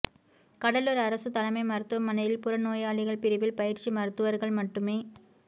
கடலூா் அரசு தலைமை மருத்துவமனையில் புற நோயாளிகள் பிரிவில் பயிற்சி மருத்துவா்கள் மட்டுமே